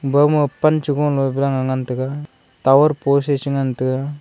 ibama pan chi gunglo ngan taga tower post eh shi ngantaga.